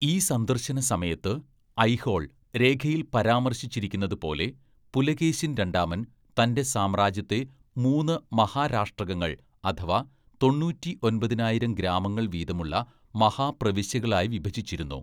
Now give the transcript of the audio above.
ഈ സന്ദർശനസമയത്ത്, ഐഹോൾ രേഖയിൽ പരാമർശിച്ചിരിക്കുന്നതുപോലെ, പുലകേശിൻ രണ്ടാമൻ തന്‍റെ സാമ്രാജ്യത്തെ മൂന്ന് മഹാരാഷ്ട്രകങ്ങള്‍ അഥവാ തൊണ്ണൂറ്റിയൊമ്പതിനായിരം ഗ്രാമങ്ങൾ വീതമുള്ള മഹാപ്രവിശ്യകളായി വിഭജിച്ചിരുന്നു.